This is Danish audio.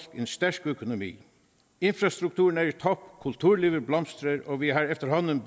en stærk økonomi infrastrukturen er i top kulturlivet blomstrer og vi har efterhånden